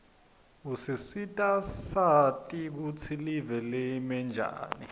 usisita sati kutsi live limenjani